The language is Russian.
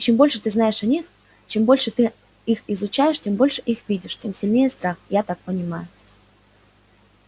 и чем больше ты знаешь о них чем больше ты их изучаешь чем больше их видишь тем сильнее страх я так понимаю